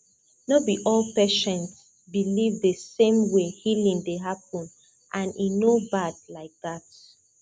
no be all patients believe the same way healing dey happen and e no bad like that